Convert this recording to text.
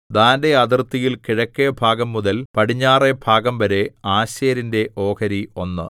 ദാന്റെ അതിർത്തിയിൽ കിഴക്കെഭാഗംമുതൽ പടിഞ്ഞാറെ ഭാഗംവരെ ആശേരിന്റെ ഓഹരി ഒന്ന്